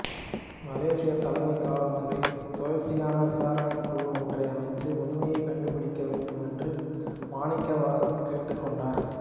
மலேசியத் தலைமை காவல்துறை சுயேட்சையான விசாரணைக் குழு ஒன்றை அமைத்து உண்மையைக் கண்டுபிடிக்க வேண்டும் என்று மாணிக்கவாசகம் கேட்டுக் கொண்டார்